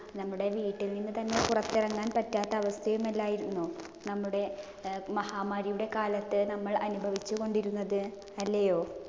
നമ്മുടെ വീട്ടിൽ നിന്ന് തന്നെ പുറത്തിറങ്ങാൻ പറ്റാത്ത അവസ്ഥയും അല്ലായിരുന്നോ. നമ്മുടെ മഹാമാരിയുടെ കാലത്ത് നമ്മൾ അനുഭവിച്ചുകൊണ്ടിരുന്നത് അല്ലയോ?